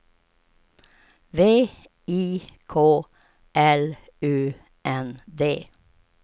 V I K L U N D